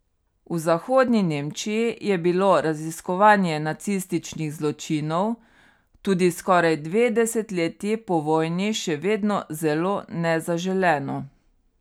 V Zahodni Nemčiji je bilo raziskovanje nacističnih zločinov tudi skoraj dve desetletji po vojni še vedno zelo nezaželeno.